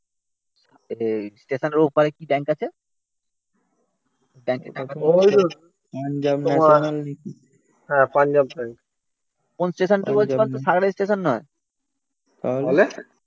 স্টেশনের ওপারে কি ব্যাংক আছে কোন স্টেশন থেকে বলছি বলতো আন্দুল স্টেশন নয়